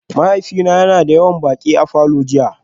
Mahaifina yana da yawan baƙi a falor jiya